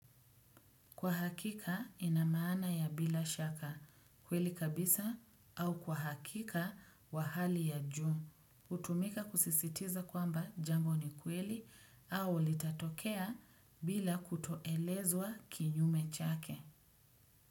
Kwa hakika inamaana bila shaka kweli kabisa au kwa hakika kwa hali ya juu. Hutumika kusisitiza kwamba jambo ni kweli au litatokea bila kutoelezwa kinyume chake.